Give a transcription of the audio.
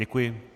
Děkuji.